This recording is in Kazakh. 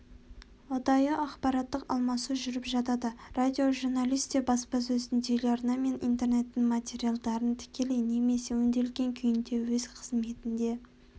ұдайы ақпараттық алмасу жүріп жатады радиожурналист те баспасөздің телеарна мен интернеттің материалдарын тікелей немесе өңделген күйінде өз қызметінде